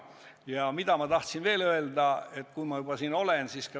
Ja üht asja tahan veel öelda, kui ma juba siin olen.